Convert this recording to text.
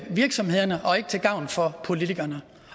virksomhederne og ikke til gavn for politikerne